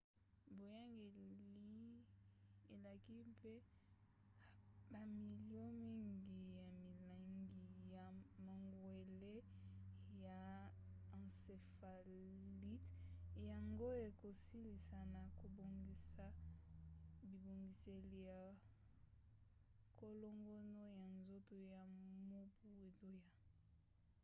boyangeli elaki mpe bamilio mingi ya milangi ya mangwele ya encéphalite yango ekosalisa na kobongisa bibongiseli ya kolongono ya nzoto na mobu ezoya